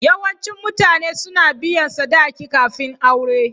Yawancin mutane suna biyan sadaki kafin aure.